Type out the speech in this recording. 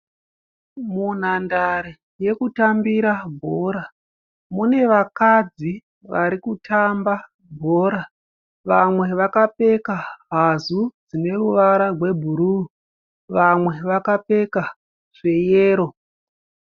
Munhandare yekutambira bhora mune vakadzi varikutamba bhora. Vamwe vakapfeka hazu dzine ruvara rwebhuruu vamwe vakapfeka zveyero.